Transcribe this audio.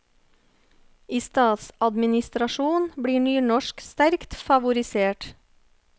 I statsadministrasjon blir nynorsk sterkt favorisert.